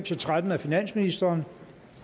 tretten af finansministeren